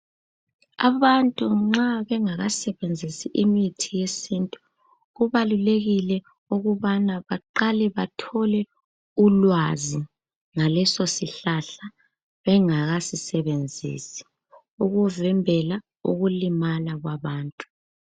Abantu nxa bengakasebenzisi imithi yesintu kubalulekile ukubana baqale bathole ulwazi ngaleso sihlahla bengakasisebenzisi ukuzembela ukulimala kwabantu.